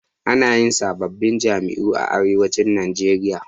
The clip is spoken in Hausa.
Ana yin sababbin jami'o'i a arewacin najeria